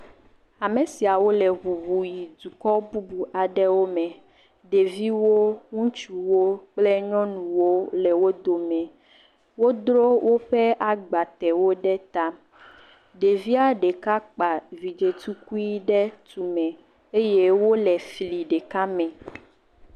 Ame siawo le ŋuŋu yi duka bubu aɖewo me, ɖeviwo, ŋutsuwo kple nyɔnuwo le wo dome. Wodro woƒe agbatewo ɖe ta, ɖevia ɖeka kpa vidzɛ̃ tukui ɖe tume eye wole fli ɖeka me.